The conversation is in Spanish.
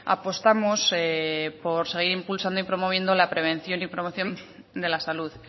apostamos por seguir impulsando y promoviendo la prevención y promoción de la salud